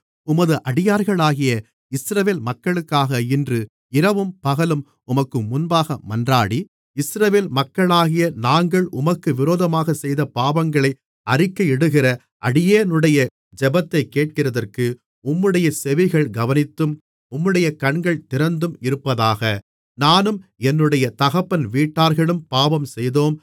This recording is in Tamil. உமது அடியார்களாகிய இஸ்ரவேல் மக்களுக்காக இன்று இரவும் பகலும் உமக்கு முன்பாக மன்றாடி இஸ்ரவேல் மக்களாகிய நாங்கள் உமக்கு விரோதமாகச் செய்த பாவங்களை அறிக்கையிடுகிற அடியேனுடைய ஜெபத்தைக் கேட்கிறதற்கு உம்முடைய செவிகள் கவனித்தும் உம்முடைய கண்கள் திறந்தும் இருப்பதாக நானும் என்னுடைய தகப்பன் வீட்டார்களும் பாவம் செய்தோம்